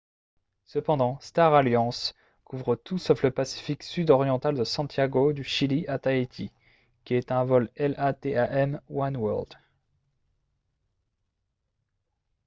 cependant star alliance couvre tout sauf le pacifique sud oriental de santiago du chili à tahiti qui est un vol latam oneworld